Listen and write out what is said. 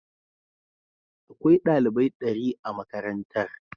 Akwai dalibai dari a makarantar.